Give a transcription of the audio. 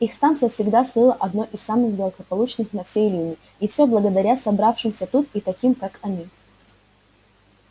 их станция всегда слыла одной из самых благополучных на всей линии и все благодаря собравшимся тут и таким как они